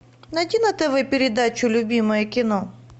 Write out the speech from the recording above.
найди на тв передачу любимое кино